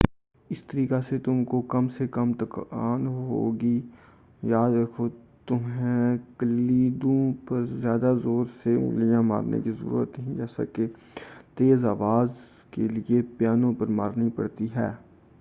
اس طریقہ سے تم کو کم سے کم تکان ہوگی یاد رکھو تمہیں کلیدوں پر زیادہ زور سے انگلیاں مارنے کی ضرورت نہیں جیسا کہ تیز آواز کے لئے پیانو پر مارنی پڑتی ہیں